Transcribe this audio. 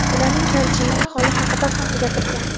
ularning tarjimai holi haqida ham gapirgan.